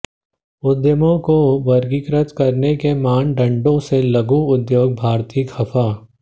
उद्यमों को वर्गीकृत करने के मानदंडों से लघु उद्योग भारती खफा